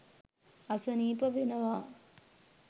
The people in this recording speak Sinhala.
අසනීප වෙනවා.